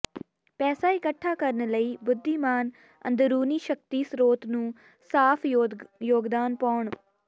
ਪੈਸਾ ਇਕੱਠਾ ਕਰਨ ਲਈ ਬੁੱਧੀਮਾਨ ਅੰਦਰੂਨੀ ਸ਼ਕਤੀ ਸਰੋਤ ਨੂੰ ਸਾਫ਼ ਯੋਗਦਾਨ ਪਾਉਣ